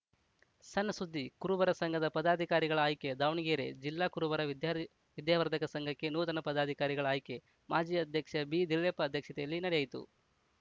ಸಣ್‌ ಸುದ್ದಿ ಕುರುಬರ ಸಂಘದ ಪದಾಧಿಕಾರಿಗಳ ಆಯ್ಕೆ ದಾವಣಗೆರೆ ಜಿಲ್ಲಾ ಕುರುಬರ ವಿದ್ಯಾ ವಿದ್ಯಾವರ್ಧಕ ಸಂಘಕ್ಕೆ ನೂತನ ಪದಾಧಿಕಾರಿಗಳ ಆಯ್ಕೆ ಮಾಜಿ ಅಧ್ಯಕ್ಷ ಬಿದಿಳ್ಳೆಪ್ಪ ಅಧ್ಯಕ್ಷತೆಯಲ್ಲಿ ನಡೆಯಿತು